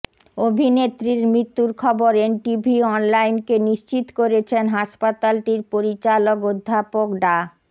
অভিনেত্রীর মৃত্যুর খবর এনটিভি অনলাইনকে নিশ্চিত করেছেন হাসপাতালটির পরিচালক অধ্যাপক ডা